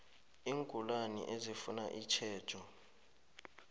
iingulani ezifuna itjhejo